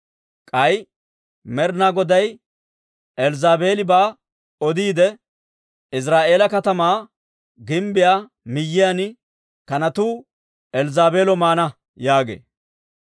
K'ay Med'inaa Goday Elzzaabeelibaa odiidde, ‹Iziraa'eela katamaa gimbbiyaa miyiyaan kanatuu Elzzaabeelo maana› yaagee.